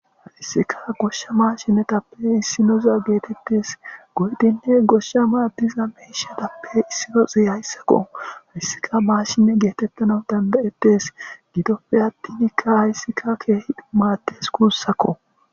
Haysika gosha maashinetappe issinoza gidishin goyidinne gosha maadiza miishatappe issinozi haysako haysika maasjine geeyetanaw danda'etes gidoppe attin haysika keehippe maades guusako.